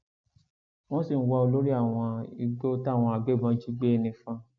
wọn sì ń wá olórí àwọn igbó táwọn agbébọn jí gbé nifon